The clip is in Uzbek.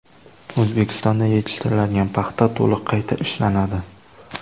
O‘zbekistonda yetishtiriladigan paxta to‘liq qayta ishlanadi.